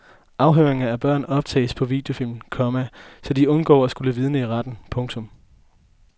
Afhøringer af børn optages på videofilm, komma så de undgår at skulle vidne i retten. punktum